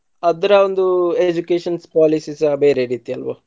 ಅದ್ರ ಒಂದು educations policies ಎಲ್ಲ ಬೇರೆ ರೀತಿ ಅಲ್ವ.